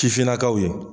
Sifinnakaw ye